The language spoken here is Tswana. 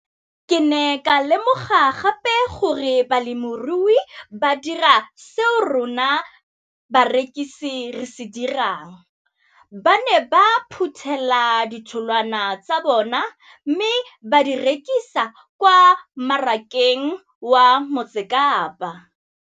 Ke ne ka lemoga gape gore balemirui ba dira seo rona barekisi re se dirang - ba ne ba phuthela ditholwana tsa bona mme ba di rekisa kwa marakeng wa Motsekapa.